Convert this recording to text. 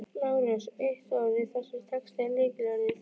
LÁRUS: Eitt orð í þessum texta er lykilorðið.